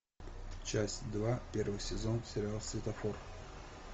часть два первый сезон сериал светофор